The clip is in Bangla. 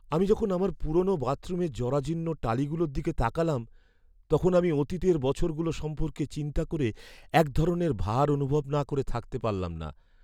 আমি যখন আমার পুরোনো বাথরুমের জরাজীর্ণ টালিগুলোর দিকে তাকালাম, তখন আমি অতীতের বছরগুলো সম্পর্কে চিন্তা করে এক ধরণের ভার অনুভব না করে থাকতে পারলাম না।